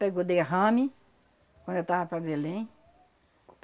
Pegou derrame, quando eu tava para Belém.